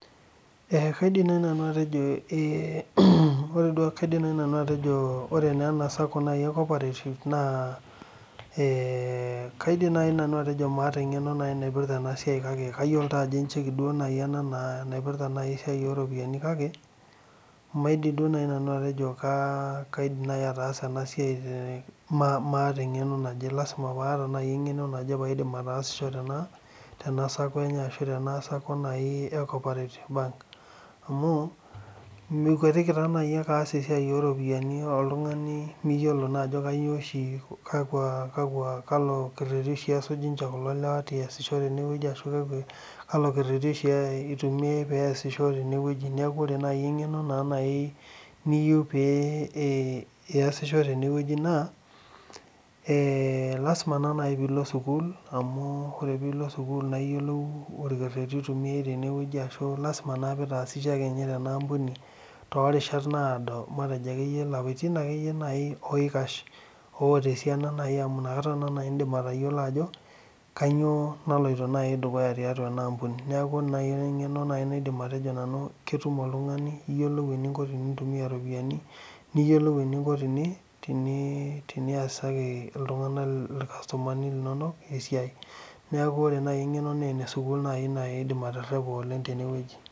Kaidim naaji nanu atejo ore naa naji ena sacco e koparetif naa, maata engeno naipirta ena siai kake ayiolo naaji ajo encheki naaji ena naipirta esia oo ropiyiani kake, maidim duo naaji nanu atejo kaidim naaji ataasa ena siai maata engeno. Lasima paata engeno naje paidim ataasisho tena Sako enye ashuu tena Sako e Koparetif Bank. Amuu imikwetiki taa naji ake aass esiai ooropiyiani ooltunganak oltungani miyiolo naaji oltungani ajo kakwa ashu kalo kereti oshi esuj ninche kulo lewa peyie eyasishore tenewuji. Niaku ore naaji engeno naa naji niyieu peyie iyasiho tene wueji naa eeeeeh lasima naa naji peyie ilo sukuul amu ore peyie ilo sukuul niyiolou orkereti oitumiyai tenewuji. Lasima naa piitaasishe ake ninye tenaampuni too rishat naado matejo akeyie ilapaitin akeyie naaji oikash oota esiana amu inakata naa naji indim atayiolo ajo, kainyoo naloito dukuya tiatua ena ampuni. Niaku ore engeno naidim naajia nanu atejo ketum oltungani eninko tenintumia iropiyiani, niyiolou eninko teniasaki iltunganak esiai irkasitomani linonok esiai. Niaku ore naaji engeno naa ene sukuul naaji aidim aterepa oleng tene wueji